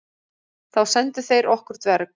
Þá sendu þeir okkur dverg.